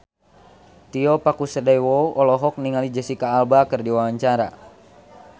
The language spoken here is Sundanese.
Tio Pakusadewo olohok ningali Jesicca Alba keur diwawancara